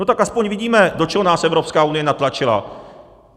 No tak aspoň vidíme, do čeho nás Evropská unie natlačila.